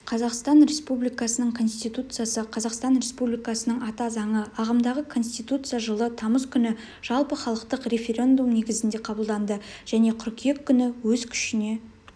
қазақстан республикасының конституциясы қазақстан республикасының ата заңы ағымдағы конституция жылы тамыз күні жалпыхалықтық референдум негізінде қабылданды және қыркүйек күні өз күшіне